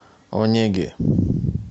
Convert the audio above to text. онеге